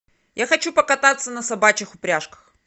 я хочу покататься на собачьих упряжках